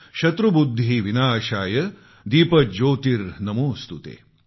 शत्रुबुद्धीविनाशाय दीपज्योतीर्नमोस्तुते